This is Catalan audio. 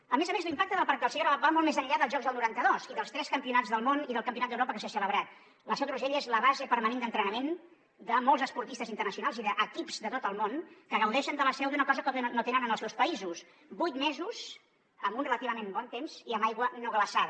a més a més l’impacte del parc del segre va molt més enllà dels jocs del noranta dos i dels tres campionats del món i del campionat d’europa que s’hi ha celebrat la seu d’urgell és la base permanent d’entrenament de molts esportistes internacionals i d’equips de tot el món que gaudeixen a la seu d’una cosa que no tenen en els seus països vuit mesos amb un relativament bon temps i amb aigua no glaçada